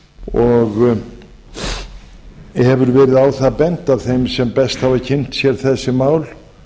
og hefur verið á það bent af þeim sem best hafa kynnt sér þessi mál